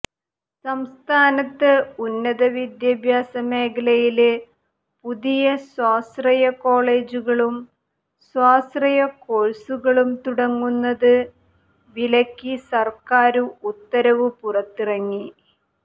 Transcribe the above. സംസ്ഥാനത്ത് ഉന്നത വിദ്യാഭ്യാസ മേഖലയില് പുതിയ സ്വാശ്രയ കോളജുകളും സ്വാശ്രയ കോഴ്സുകളും തുടങ്ങുന്നത് വിലക്കി സര്ക്കാര് ഉത്തരവ് പുറത്തിറങ്ങി